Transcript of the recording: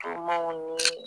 Tumaw ni